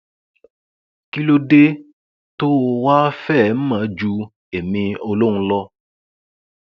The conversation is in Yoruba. kí ló dé tó o wàá fẹẹ mọ ju èmi olóhùn lọ